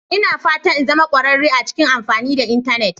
Ina fatan in zama kwararre a cikin amfani da Intanet